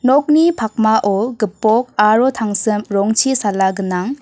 nokni pakmao gipok aro tangsim rongchi sala gnang.